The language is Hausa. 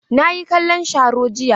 Na yi kallon sharo jiya.